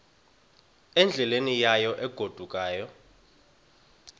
endleleni yayo egodukayo